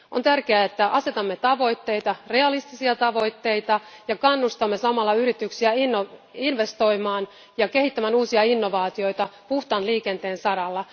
On tärkeää, että asetamme tavoitteita, realistisia tavoitteita, ja kannustamme samalla yrityksiä investoimaan ja kehittämään uusia innovaatioita puhtaan liikenteen saralla.